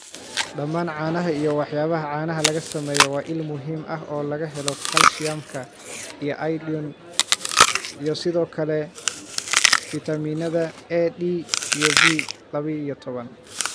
Dhammaan caanaha iyo waxyaabaha caanaha laga sameeyo waa il muhiim ah oo laga helo kaalshiyamka iyo iodine, iyo sidoo kale fiitamiinada A, D iyo B-laba iyo toban.